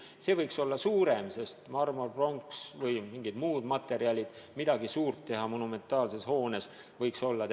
See piirmäär võiks olla suurem, sest marmor, pronks ja mingid muud materjalid, millest võiks midagi suurt teha monumentaalse hoone jaoks, on kallid.